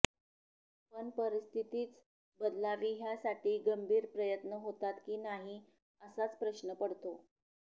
पण परिस्थितीच बदलावी ह्यासाठी गंभीर प्रयत्न होतात की नाही असाच प्रश्न पडतो